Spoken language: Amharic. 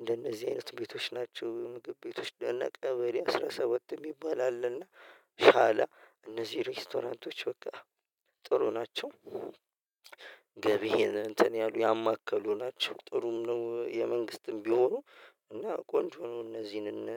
እንደነዚህ አይነት ቤቶች ናቸው። ምግብ ቤቶች ደነቀ በእኔ አስራ ሰባት የሚባል አለ እና ሻላ እነዚህ ሬስቶራንቶች በቃ ጥሩ ናቸው። እንትን ያሉ ያማከሉ ናቸው ጥሩም ነው የመንግስትም ቢሆኑ እና ቆንጆ ነው እነዚህን እና